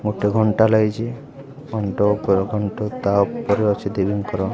ଗୋଟେ ଘଣ୍ଟା ଲାଗିଚି ଘଣ୍ଟ ଉପରେ ଘଣ୍ଟ ତା ଉପରେ ଅଛି ଦେବୀ ଙ୍କର --